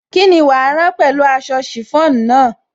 Kíni wàá rán pẹ̀lú aṣọ chiffon náà?